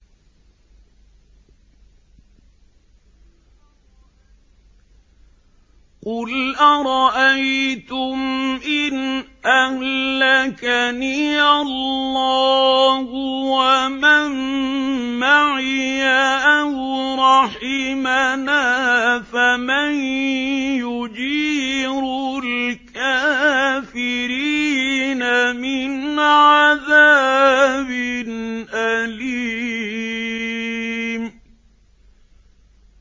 قُلْ أَرَأَيْتُمْ إِنْ أَهْلَكَنِيَ اللَّهُ وَمَن مَّعِيَ أَوْ رَحِمَنَا فَمَن يُجِيرُ الْكَافِرِينَ مِنْ عَذَابٍ أَلِيمٍ